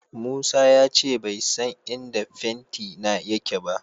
Musa ya ce bai san inda fentina yake ba.